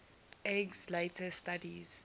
eggs later studies